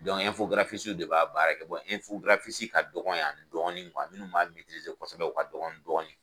de b'a baara kɛ ka dɔgɔn yan dɔɔni minnu b'a kɔsɛbɛ u ka dɔgɔn dɔɔni.